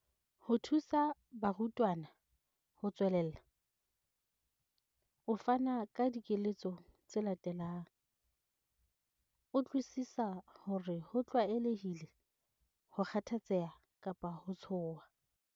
Ho thusa barutwana ho tswelella, o fana ka dikeletso tse latelang- Utlwisisa hore ho tlwaelehile ho kgathatseha kapa ho tshoha.